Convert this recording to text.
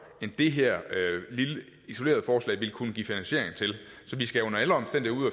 end det her lille isolerede forslag vil kunne give finansiering til så vi skal under alle omstændigheder